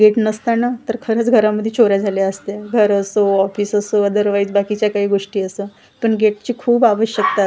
gate नसतं ना तर खरंच घरामध्ये चोऱ्या झाल्या असत्या घर असो ऑफिस असो अदरवाईज बाकीच्या काही गोष्टी असं पण गेटची खूप आवश्यकता अस--